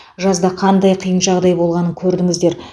жазда қандай қиын жағдай болғанын көрдіңіздер